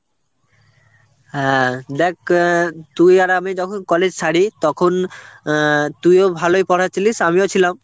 হ্যাঁ, দেখ অ্যাঁ তুই আর আমি যখন college ছাড়ি তখন অ্যাঁ তুইও ভালোই পড়ায় ছিলিস আমিও ছিলাম,